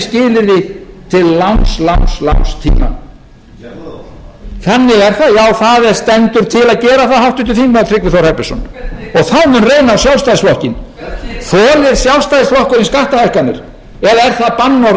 verri skilyrði til langs tíma þannig er það já það stendur til að gera það háttvirtur þingmaður tryggvi þór herbertsson þá mun reyna á sjálfstæðisflokkinn þolir sjálfstæðisflokkurinn skattahækkanir eða er það bannorð